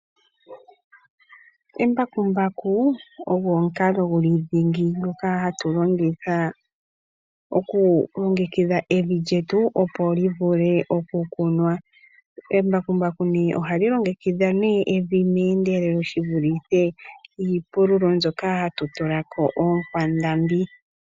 Embakumbaku ogo omukalodhingi ngoka hatu longitha okulongekidha omapya getu opo gavule okukunwa. Embakumbaku ohali longekidha evi meendelelo shivulithe iipululo mbyoka hatu tulako oonkwandambi.